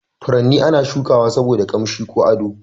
Furanni ana shuka wa saboda ƙanshi ko ado.